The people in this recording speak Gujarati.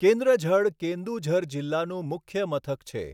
કેન્દ્ર ઝડ કેન્દુઝર જિલ્લાનું મુખ્ય મથક છે.